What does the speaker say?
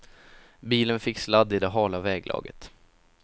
Bilen fick sladd i det hala väglaget.